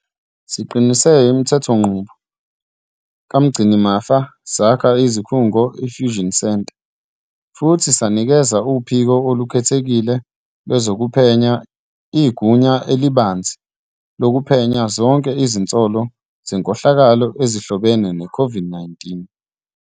Siqinise imithethonqubo kaMgcinimafa, sakha isikhungo i-fusion centre futhi sanikeza uPhiko Olukhethekile Lwezokuphenya igunya elibanzi lokuphenya zonke izinsolo zenkohlakalo ezihlobene ne-COVID-19.